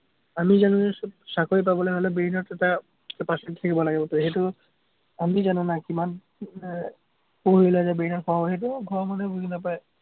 আমি জানো যে চাকৰি পাবলে হলে brain ত এটা capacity থাকিব লাগিব, সেইটো আমি জনা নাই, কিমান আহ পঢ়িলে যে brain ত সোমাব, সেইটো ঘৰৰ মানুহে বুজি নাপায়।